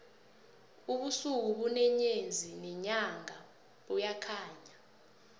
ubusuku ubune nyezi nenyanga buyakhanya